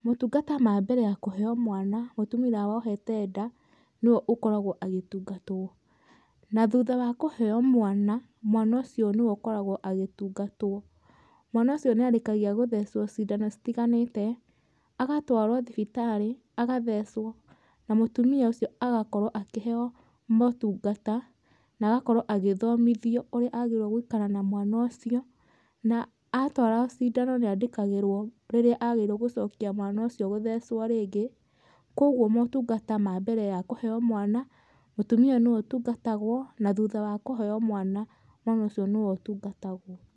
Motungata ma mbere ya kũheo mwana, mũtumia ũrĩa wohete nda nĩwe ũkoragwo agĩtungatwo, na thutha wa kũheo mwana, mwana ũcio nĩwe ũkoragwo agĩtungatwo. Mwana ũcio nĩarĩkagia gũthecwo cindano itiganĩte, agatwarwo thibitarĩ agathecwo na mũtumia ũcio agakorwo akĩheo motungata na agakorwo agĩthomithio ũrĩa agĩrĩirwo gũikara na mwana ũcio. Na atwarwo cindano nĩandĩkagĩrwo rĩrĩa agĩrĩirwo gũcokia mwana ũcio gũthecwo rĩngĩ, kogwo motungata ma mbere ya kũheo mwana mũtumia ũyũ nĩwe ũtungatagwo, na thutha wa kũheo mwana, mwana ũcio nĩwe ũtungatagwo.